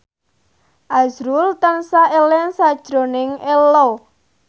azrul tansah eling sakjroning Ello